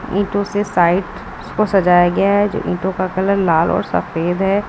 ईंटों से साइट को सजाया गया है जो ईंटों कलर लाल और सफेद है।